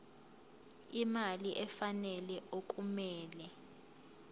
imali efanele okumele